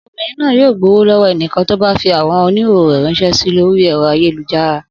Obìnrin náà yóò gbowó lọ́wọ́ ẹnikẹ́ni tó bá fi àwòrán oníhòòhò rẹ̀ ránṣẹ́ sí lórí ẹ̀rọ ayélujára